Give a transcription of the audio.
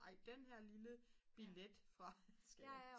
ej den her lille billet fra